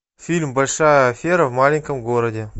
фильм большая афера в маленьком городе